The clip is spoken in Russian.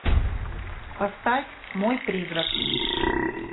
поставь мой призрак